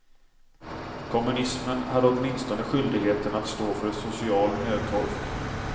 Kommunismen hade åtminstone skyldigheten att stå för social nödtorft.